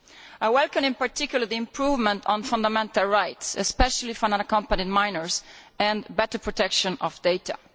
I welcome in particular the improvements on fundamental rights, especially for unaccompanied minors, and better protection of data.